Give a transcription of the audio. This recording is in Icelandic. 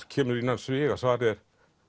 kemur innan sviga svarið er